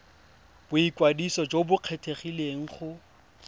boikwadiso jo bo kgethegileng go